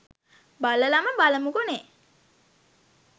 බලලම බලමුකෝ නේ